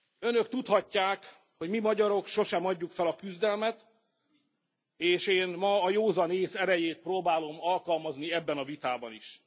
Önök tudhatják, hogy mi, magyarok sosem adjuk fel a küzdelmet, és én ma a józan ész erejét próbálom alkalmazni ebben a vitában is.